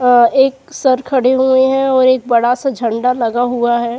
एक सर खड़े हुए है और एक बड़ा सा झंडा लगा हुआ है।